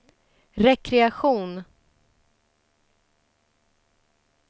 rekreation